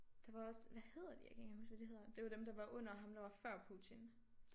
Der var også hvad hedder de jeg kan ikke engang huske hvad de hedder det var dem der var under ham der var før Putin